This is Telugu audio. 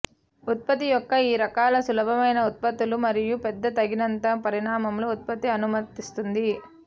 ఉత్పత్తి యొక్క ఈ రకాల సులభమైన ఉత్పత్తులు మరియు పెద్ద తగినంత పరిమాణంలో ఉత్పత్తి అనుమతిస్తుంది